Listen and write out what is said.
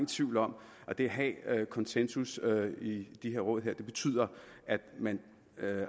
tvivl om at det at have konsensus i de her råd betyder at man